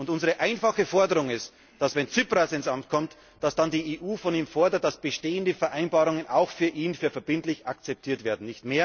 Unsere einfache Forderung ist, wenn Tsipras ins Amt kommt, dass dann die EU von ihm fordert, dass bestehende Vereinbarungen auch für ihn als verbindlich akzeptiert werden.